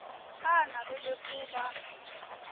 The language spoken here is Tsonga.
a a navela ku va